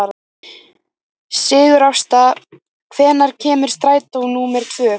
Sigurásta, hvenær kemur strætó númer tvö?